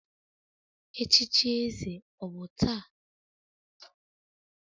Echichi eze ọ bụ taa?